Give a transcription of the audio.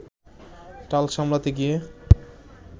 টাল সামলাতে গিয়ে